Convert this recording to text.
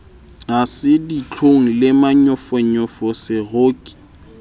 ha se ditlhong le manyofonyofoseroki